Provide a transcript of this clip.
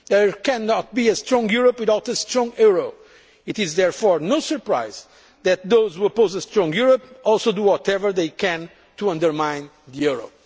There cannot be a strong Europe without a strong euro. It is therefore no surprise that those who oppose a strong Europe also do whatever they can to undermine the